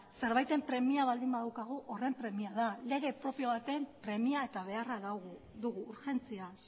zerbaiten premia baldin badaukagu horren premia da lege propio baten premia eta beharra dugu urgentziaz